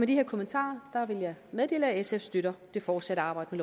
de her kommentarer vil jeg meddele at sf støtter det fortsatte arbejde